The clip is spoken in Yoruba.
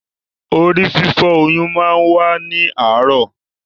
Orí-fífọ́ oyún máa n wa ni aarọ.